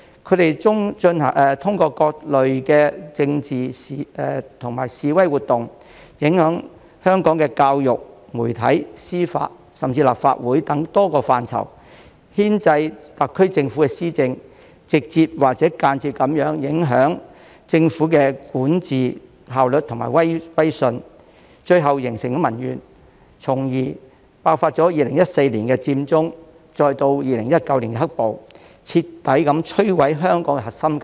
他們通過各類的政治及示威活動，影響香港的教育、媒體、司法，甚至立法會等多個範疇，牽制特區政府施政，直接或間接地影響政府的管治效率和威信，最後形成民怨，從而爆發2014年佔中，再到2019年"黑暴"，徹底摧毀香港核心價值。